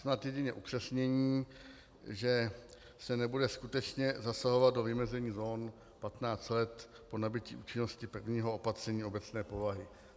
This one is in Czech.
Snad jedině upřesnění, že se nebude skutečně zasahovat do vymezení zón 15 let po nabytí účinnosti prvního opatření obecné povahy.